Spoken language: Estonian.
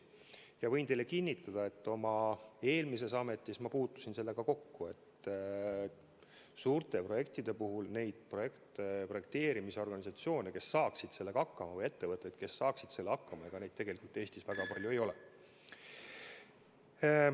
Ma võin teile kinnitada, et oma eelmises ametis ma puutusin sellega kokku, et suurte projektide puhul projekteerimisorganisatsioone, kes saaksid selle tööga hakkama, või ettevõtteid, kes saaksid sellega hakkama, tegelikult Eestis väga palju ei ole.